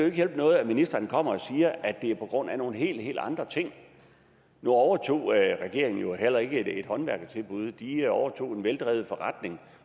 ikke hjælpe noget at ministeren kommer og siger at det er på grund af nogle helt helt andre ting nu overtog regeringen jo heller ikke et håndværkertilbud de overtog en veldrevet forretning